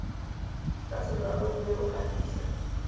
ka seraro mme o gatise